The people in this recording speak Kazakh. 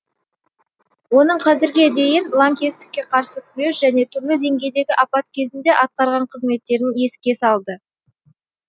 оның қазірге дейін лаңкестікке қарсы күрес және түрлі деңгейдегі апат кезінде атқарған қызметтерін еске салды